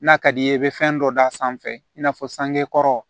N'a ka d'i ye i be fɛn dɔ d'a sanfɛ i n'a fɔ sangekɔrɔ